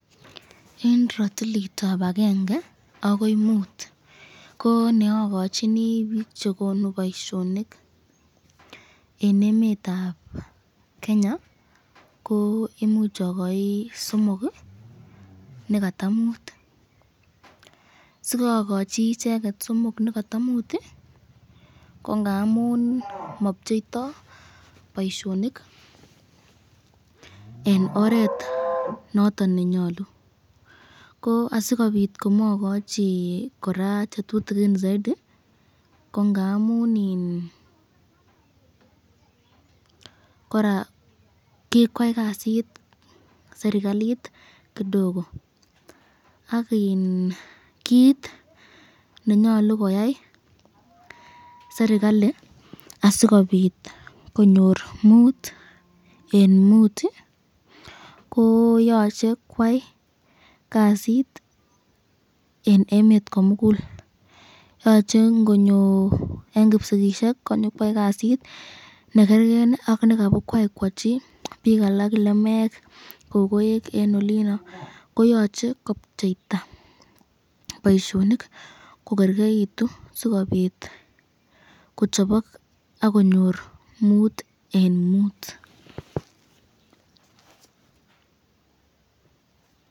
Eng ratilitab akenge akoi Mut, ko neakochini bik chekonu boisyonik eng emetab Kenya, ko imuch akachi somok nekata Mut ,siakochi icheket somok nekata Mut ko ngamun mapcheita boisyonik eng oret noton nenyalu , asikobit komakachi kora chetutikin saiti ko ngamun kikwai kasit serikalit kidoko ,ak kit nenyalu koyai serikali asikobit konyor Mut eng Mut ko yoche kwai kasit eng, emet komukul, yoche ngonyor eng kipsigisyek konyokwai kasit nekerken ak nekabukwai koachi bik alak ,lemek ,kokoek eng olino koyache kopcheita boisyonik kokerkeitu sikobit kochobok akonyor Mut eng Mut.